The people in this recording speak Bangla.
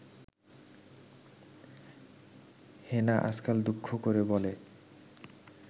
হেনা আজকাল দুঃখ করে বলে